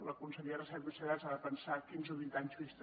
la consellera de recerca i universitats ha de pensar a quinze o vint anys vista